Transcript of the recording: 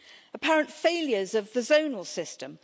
apparent failures of the zonal system...